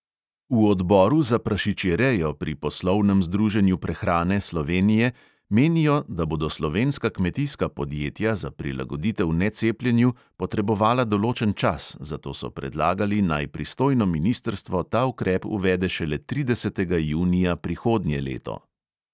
V odboru za prašičjerejo pri poslovnem združenju prehrane slovenije menijo, da bodo slovenska kmetijska podjetja za prilagoditev necepljenju potrebovala določen čas, zato so predlagali, naj pristojno ministrstvo ta ukrep uvede šele tridesetega junija prihodnje leto.